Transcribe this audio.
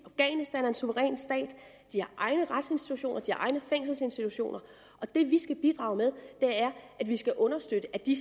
at de har egne retsinstitutioner de har egne fængselsinstitutioner og det vi skal bidrage med er at vi skal understøtte at de